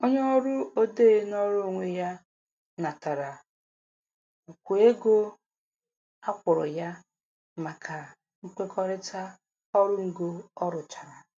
Onye ọrụ odee nọọrọ onwe ya natara ukwu ego a kwụrụ ya maka nkwekọrịta ọrụ ngo ọ rụchara.